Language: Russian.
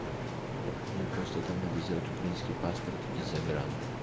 мне просто там надо сделать украинский паспорт и загран